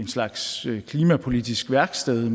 slags klimapolitisk værksted